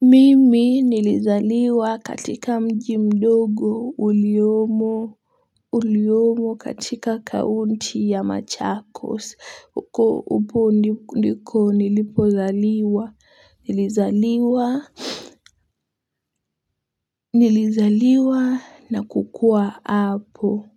Mimi nilizaliwa katika mji mdogo uliomo uliomo katika kaunti ya machakos upo ndiko nilipozaliwa nilizaliwa nilizaliwa na kukua hapo.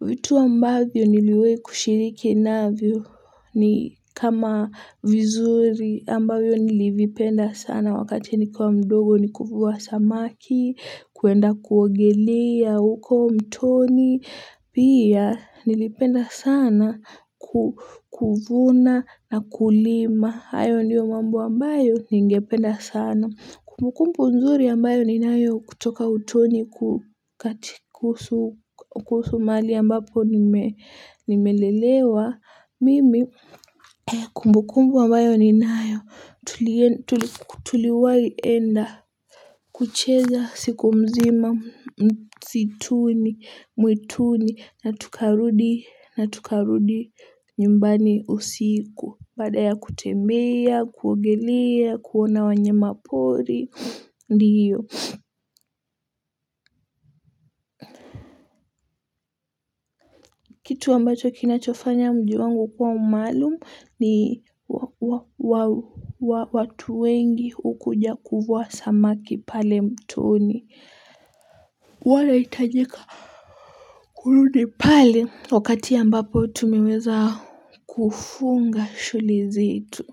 Vitu ambavyo niliwe kushiriki navio ni kama vizuri ambavyo nilivipenda sana wakati nikiwa mdogo ni kufuwa samaki, kuenda kuwogelia, huko mtoni. Pia nilipenda sana kukuvuna na kulima. Hayo ndiyo mambo ambayo ni ngependa sana. Kumbukumbu mzuri ambayo ni nayo kutoka utoni kukati kuhusu mahali ambapo nimelelewa. Mimi kumbukumbu ambayo ni nayo tuliwayenda kucheza siku mzima, msituni, mwituni, na tukarudi nyumbani usiku. Mbada ya kutembea, kuongelea, kuona wanye mapori, ndi hiyo. Kitu ambacho kinachofanya mji wangu kwa umalumu ni watu wengi ukuja kufuwa samaki pale mtoni. Wala hitajika. Kurudi pale wakati ambapo tumiweza kufunga shuli zetu.